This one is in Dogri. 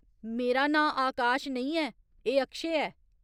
मेरा नांऽ आकाश नेईं ऐ, एह् अक्षय ऐ।